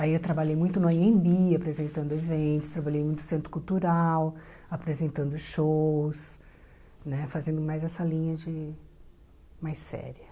Aí eu trabalhei muito no Anhembi, apresentando eventos, trabalhei muito no Centro Cultural, apresentando shows, né fazendo mais essa linha de mais séria.